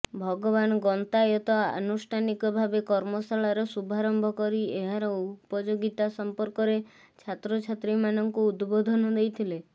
ଭଗବାନ ଗନ୍ତାୟତ ଆନୁଷ୍ଠାନିକ ଭାବେ କର୍ମଶାଳାର ଶୁଭାରମ୍ଭ କରି ଏହାର ଉପଯୋଗୀତା ସମ୍ପର୍କରେ ଛାତ୍ରଛାତ୍ରୀମାନଙ୍କୁ ଉଦବୋଧନ ଦେଇଥିଲେ